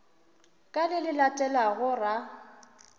ka le le latelago ra